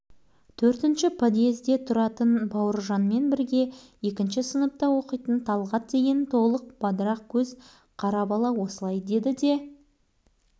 балалар талғаттың айтқанына еріп бауыржанды күлкіге айналдырды ұялатын бала бала емес ол қыз бар қуыршақ ойна